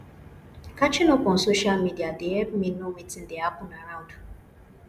catching up on social media dey help me know wetin dey hapun around